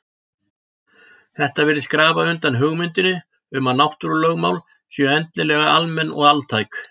Þetta virðist grafa undan hugmyndinni um að náttúrulögmál séu endilega almenn og altæk.